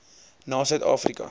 na suid afrika